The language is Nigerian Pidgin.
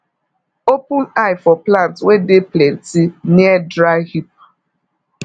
open eye for ant wey dey plenty near dry heap